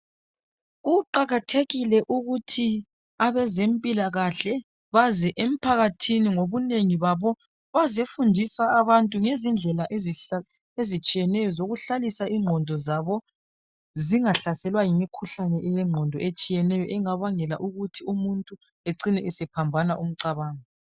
kuqakathekile ukuthi abezempilakhle baze emphakathini ngobunengi babo bazefundisa abantu ngezindlela ezitshiyeneyo zokuhlalisa inqondo zabo zingahlaselwa yimikhuhlane yenqondo etshiyeneyo engabangela ukuthi umuntu ecine esephambana umncabango